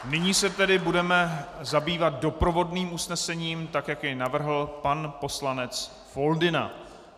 Nyní se tedy budeme zabývat doprovodným usnesením, tak jak jej navrhl pan poslanec Foldyna.